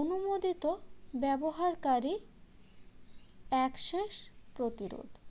অনুমোদিত ব্যবহারকারী access প্রতিরোধ